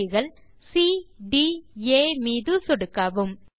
புள்ளிகள் cட் ஆ மீது சொடுக்கவும்